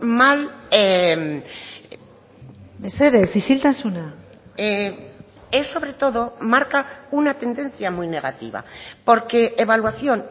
mal mesedez isiltasuna es sobre todo marca una tendencia muy negativa porque evaluación